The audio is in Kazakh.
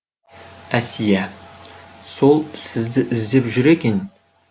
әсия сол сізді іздеп жүр екен